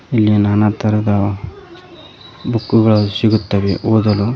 ಇಲ್ಲಿ ನಾನ ತರದ ಬುಕ್ಕುಗಳು ಸಿಗುತ್ತವೆ ಓದಲು.